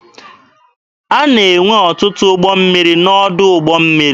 A na-enwe ọtụtụ ụgbọ mmiri n'ọdụ ụgbọ mmiri.